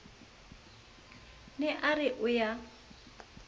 ne a re o ya